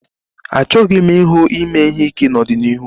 Achọghị m ịhụ ime ihe ike n'ọdịniihu